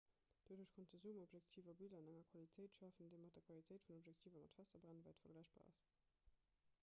doduerch konnte zoomobjektiver biller an enger qualitéit schafen déi mat der qualitéit vun objektiver mat fester brennwäit vergläichbar ass